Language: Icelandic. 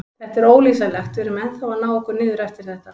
Þetta er ólýsanlegt, við erum ennþá að ná okkur niður eftir þetta.